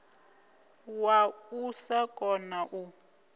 wa u sa kona u